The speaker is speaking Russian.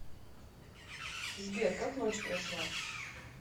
сбер как ночь прошла